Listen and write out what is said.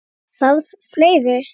Þarf fleiri?